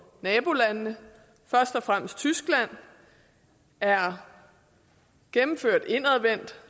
nabolandene først og fremmest tyskland er gennemført indadvendt